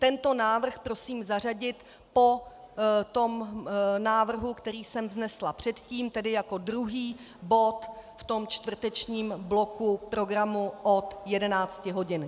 Tento návrh prosím zařadit po tom návrhu, který jsem vznesla předtím, tedy jako druhý bod v tom čtvrtečním bloku programu od 11.00 hodin.